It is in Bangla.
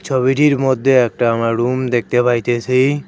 ছবিটির মদ্যে একটা আমরা রুম দেখতে পাইতেসি।